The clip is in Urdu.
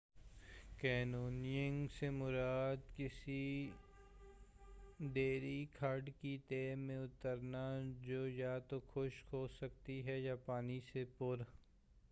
canoyoning سے مراد کسی دریائی کھڈ کی تہہ میں اترنا جو یا تو خشک ہو سکتی ہے یا پانی سے پُر